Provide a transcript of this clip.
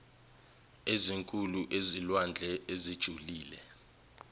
ezinkulu ezilwandle ezijulile